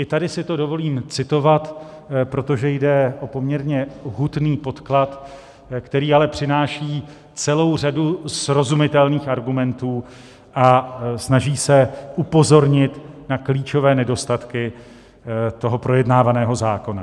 I tady si to dovolím citovat, protože jde o poměrně hutný podklad, který ale přináší celou řadu srozumitelných argumentů a snaží se upozornit na klíčové nedostatky toho projednávaného zákona.